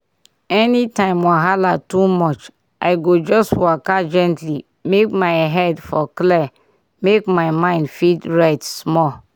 anytime wahala too much i go just waka gently make my head for clear make my mind fit rest small.